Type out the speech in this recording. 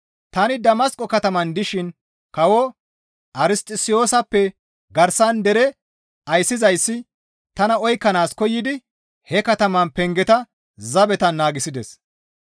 Tani Damasqo kataman dishin kawo Arsixosiyosappe garsara dere ayssizayssi tana oykkanaas koyidi he katamaa pengeta zabetan naagissides.